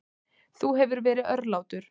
Þú hefur verið örlátur.